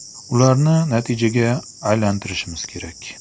Ularni natijaga aylantirishimiz kerak.